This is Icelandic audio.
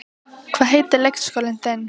Hvað heitir leikskólinn þinn?